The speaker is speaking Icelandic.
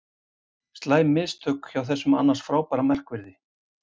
Slæm mistök hjá þessum annars frábæra markverði.